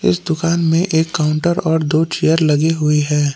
इस दुकान में एक काउंटर और दो चेयर लगी हुई है।